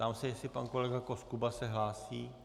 Ptám se, jestli pan kolega Koskuba se hlásí.